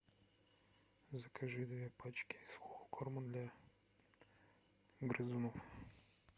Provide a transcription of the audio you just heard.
закажи две пачки сухого корма для грызунов